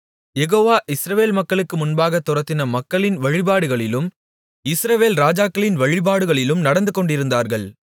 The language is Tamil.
யெகோவா இஸ்ரவேல் மக்களுக்கு முன்பாகத் துரத்தின மக்களின் வழிபாடுகளிலும் இஸ்ரவேல் ராஜாக்களின் வழிபாடுகளிலும் நடந்துகொண்டிருந்தார்கள்